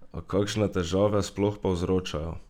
A kakšne težave sploh povzročajo?